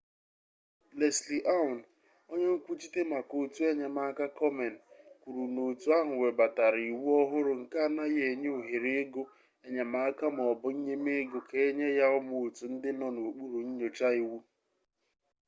leslie aun onye nkwuchite maka otu enyemaka komen kwuru na otu ahụ webatara iwu ọhụrụ nke anaghị enye ohere ego enyemaka ma ọ bụ nnyemego ka enye ya ụmụ otu ndị nọ n'okpuru nnyocha iwu